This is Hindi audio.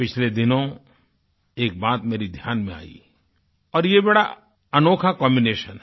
पिछले दिनों एक बात मेरे ध्यान में आई और यह बड़ा अनोखा कॉम्बिनेशन है